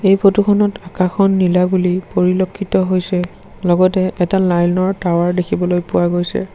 এই ফটোখনত আকাশখন নীলা বুলি পৰিলক্ষিত হৈছে লগতে এটা লাইনৰ টাৱাৰ দেখিবলৈ পোৱা গৈছে।